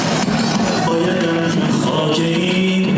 Allaha and olsun, xaki idi.